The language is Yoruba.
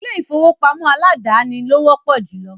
ilé-ìfowópamọ́ aládàáni lo wọ́pọ̀ júlọ.